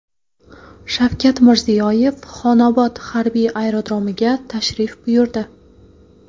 Shavkat Mirziyoyev Xonobod harbiy aerodromiga tashrif buyurdi.